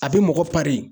A bɛ mɔgɔ